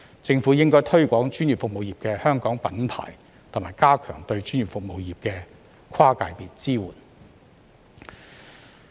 政府應該推廣專業服務業的"香港品牌"，以及加強對專業服務業的跨界別支援。